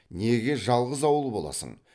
неге жалғыз ауыл боласың